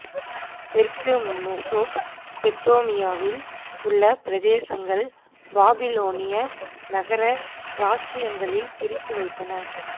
தெற்கு மெசொப்பொத்தேமியாவில் உள்ள பிரதேசங்கள் பாபிலோனிய நகர இராச்சியங்களில் பிரித்து வைத்தனர்